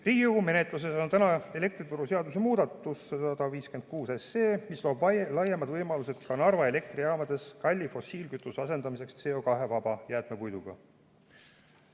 Riigikogu menetluses on elektrituruseaduse muudatus, eelnõu 156, mis loob laiemad võimalused ka Narva elektrijaamades kalli fossiilkütuse asendamiseks CO2-vaba jäätmepuiduga.